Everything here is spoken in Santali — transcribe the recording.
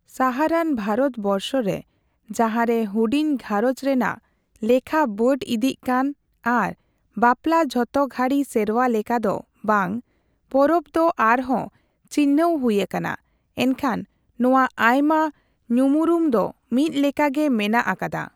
ᱥᱟᱦᱟᱨᱟᱱ ᱵᱷᱟᱨᱚᱛ ᱵᱚᱨᱥᱚᱨᱮ, ᱡᱟᱦᱟᱸᱨᱮ ᱦᱩᱰᱤᱧ ᱜᱷᱟᱸᱨᱚᱧᱡᱽ ᱨᱮᱱᱟᱜ ᱞᱮᱠᱷᱟ ᱵᱟᱹᱰ ᱤᱫᱤᱜ ᱠᱟᱱ ᱟᱨ ᱵᱟᱯᱞᱟ ᱡᱷᱚᱛᱚ ᱜᱷᱟᱹᱲᱤ ᱥᱮᱨᱣᱟ ᱞᱮᱠᱟᱫᱚ ᱵᱟᱝ, ᱯᱚᱨᱚᱵ ᱫᱚ ᱟᱨᱦᱚᱸ ᱪᱤᱱᱦᱟᱹᱣ ᱦᱩᱭ ᱟᱠᱟᱱᱟ, ᱮᱱᱠᱷᱟᱱ ᱱᱚᱣᱟ ᱟᱭᱢᱟ ᱧᱩᱢᱩᱨᱩᱢ ᱫᱚ ᱢᱤᱫ ᱞᱮᱠᱟᱜᱮ ᱢᱮᱱᱟᱜ ᱟᱠᱟᱫᱟ ᱾